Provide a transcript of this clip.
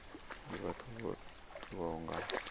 ndi vhathu vho tiwaho nga